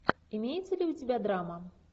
имеется ли у тебя драма